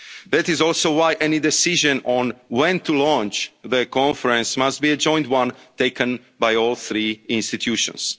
equal footing. That is also why any decision on when to launch the Conference must be a joint one taken by all three